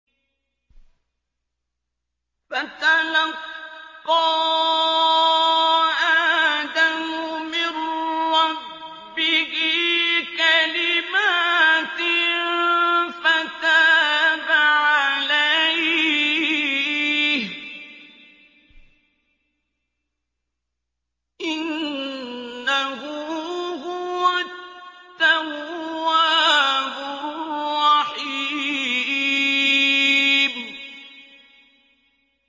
فَتَلَقَّىٰ آدَمُ مِن رَّبِّهِ كَلِمَاتٍ فَتَابَ عَلَيْهِ ۚ إِنَّهُ هُوَ التَّوَّابُ الرَّحِيمُ